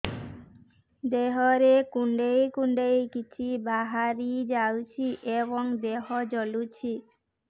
ଦେହରେ କୁଣ୍ଡେଇ କୁଣ୍ଡେଇ କିଛି ବାହାରି ଯାଉଛି ଏବଂ ଦେହ ଜଳୁଛି